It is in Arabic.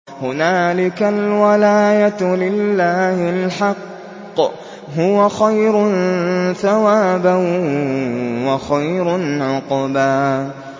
هُنَالِكَ الْوَلَايَةُ لِلَّهِ الْحَقِّ ۚ هُوَ خَيْرٌ ثَوَابًا وَخَيْرٌ عُقْبًا